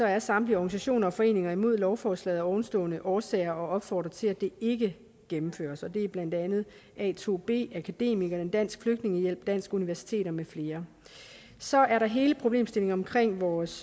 er samtlige organisationer og foreninger imod lovforslaget af ovenstående årsager og opfordrer til at det ikke gennemføres og det er blandt andet a2b akademikerne dansk flygtningehjælp danske universiteter med flere så er der hele problemstillingen omkring vores